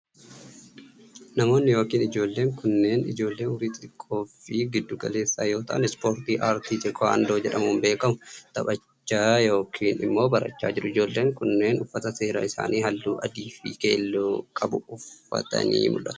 Namoonni yookiin ijoolleen kunneen, ijoollee umuriin xixiqqoo fi giddu galeessa yoo ta'an, ispoortii artii teekuwandoo jedhamuun beekamu taphachaa yokin immoo barachaa jiru. Ijoolleen kunneen, uffata seeraa isaanii haalluu adii fi keelloo qabu uffatanii mul'atu.